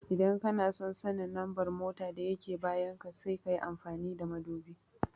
Idan kanason sanin lambar mota da yake bayan ka sai kayi amfani da madubi